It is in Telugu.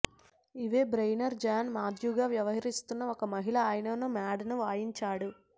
ఈవ్ బ్రేన్నెర్ జాన్ మాథ్యూగా వ్యవహరిస్తున్న ఒక మహిళ అయిన మాడ్ ను వాయించాడు